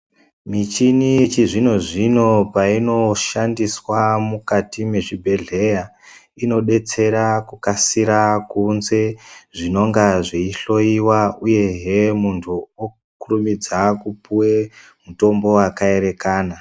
Michini yechizvino-zvino payinoshandiswa mukati mezvibhedhleya, inodetsera kukasira kuunze zvinonga zveyihloyiwa ,uyehe muntu okurumidza kupuwe mutombo wakaerekana.